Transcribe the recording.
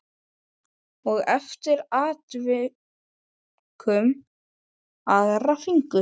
Og eftir atvikum aðra fingur.